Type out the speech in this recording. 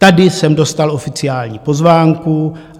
Tady jsem dostal oficiální pozvánku.